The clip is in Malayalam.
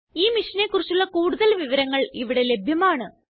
ഈ മിഷനെ കുറിച്ചുള്ള കൂടുതല് വിവരങ്ങള് ഇവിടെ ലഭ്യമാണ്